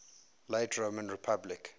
late roman republic